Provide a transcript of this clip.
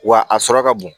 Wa a sɔrɔ ka bon